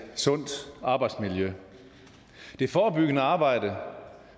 sundt arbejdsmiljø det forebyggende arbejde